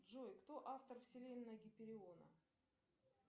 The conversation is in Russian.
джой кто автор вселенная гипериона